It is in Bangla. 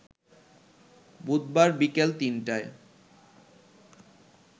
বুধবার বিকেল ৩টায়